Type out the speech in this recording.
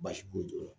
Baasi t'o la